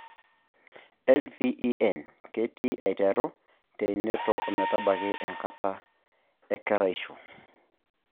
LVEN ketii aiteru teinoto ometabaki enkata e keraisho.